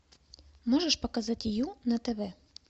можешь показать ю на тв